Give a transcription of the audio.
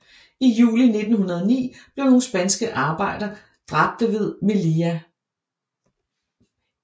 I juli 1909 blev nogle spanske arbejdere dræbte ved Melilla